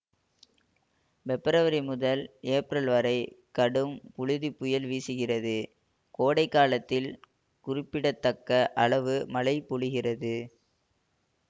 பெப்ரவரி முதல் ஏப்ரல் வரை கடும் புழுதி புயல் வீசுகிறது கோடை காலத்தில் குறிப்பிடத்தக்க அளவு மழை பொழிகிறது